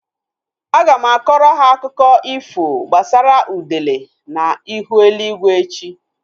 Aga m akọrọ ha akụkọ ifo gbasara udele na ihu eluigwe echi